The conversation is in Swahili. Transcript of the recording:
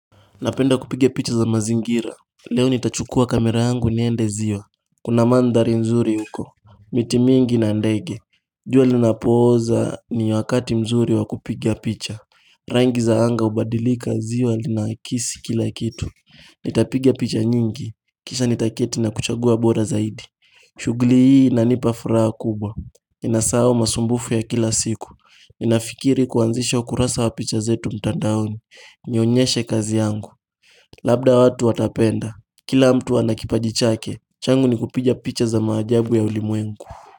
Napenda kupigia picha za mazingira Leo nitachukua kamera yangu niende zio Kuna mandhari nzuri huko Mitimingi na ndege jua linapooza ni wakati mzuri wakupigia picha Rangi za hanga hubadilika ziwa linahakisi kila kitu Nitapigia picha nyingi Kisha nitaketi na kuchagua bora zaidi shughuli hii ina nipafuraa kubwa Nina sau masumbufu ya kila siku ninafikiri kuanzisha ukurasa wa picha zetu mtandaoni Niyonyeshe kazi yangu Labda watu watapenda Kila mtu anakipajichake changu ni kupiga picha za maajabu ya ulimwengu.